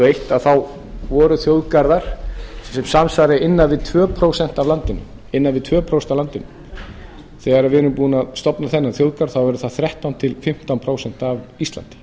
og eitt voru þjóðgarðar sem samsvarar innan við tvö prósent af landinu þegar við erum búin að stofna þennan þjóðgarð þá verður það þrettán til fimmtán prósent af íslandi